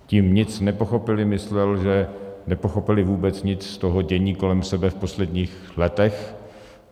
Tím nic nepochopili myslel, že nepochopili vůbec nic z toho dění kolem sebe v posledních letech.